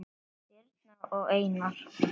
Birna og Einar.